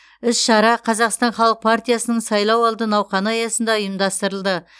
іс шара қазақстан халық партиясының сайлауалды науқаны аясында ұйымдастырылды